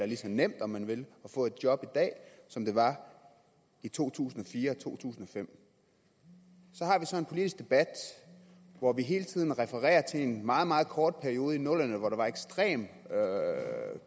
lige så nemt om man vil at få et job i dag som det var i to tusind og fire og to tusind og fem så har vi så en politisk debat hvor vi hele tiden refererer til en meget meget kort periode i nullerne hvor der var en ekstrem